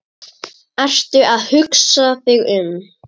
Ertu að hugsa þig um?